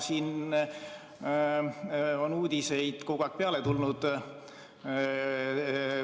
Siin on uudiseid kogu aeg peale tulnud.